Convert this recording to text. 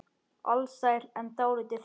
Alsæl en dálítið þreytt.